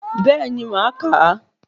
Bẹ́ẹ̀ni màá ka